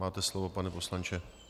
Máte slovo, pane poslanče.